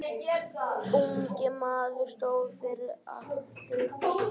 Ungi maðurinn stóð fyrir altari.